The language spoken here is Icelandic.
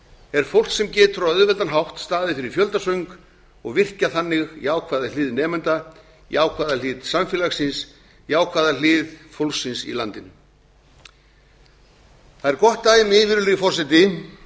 er fólk sem getur á auðveldan hátt staðið fyrir fjöldasöng og virkjað þannig jákvæða hlið nemenda jákvæða hlið samfélagsins jákvæða hlið fólksins í landinu það er gott dæmi virðulegi forseti